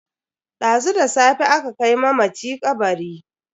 Dazu da safe aka kai mamaci kabari.